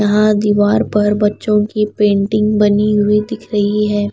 यहाँ दीवार पर बच्चों की पेंटिंग बनी हुई दिख रही है।